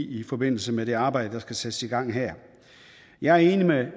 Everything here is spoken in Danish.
i forbindelse med det arbejde der skal sættes i gang her jeg er enig med